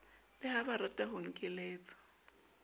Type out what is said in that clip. le ha barata ho nkeletsa